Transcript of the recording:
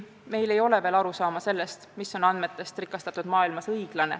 Meil ei ole veel arusaama sellest, mis on andmetest rikastatud maailmas õiglane.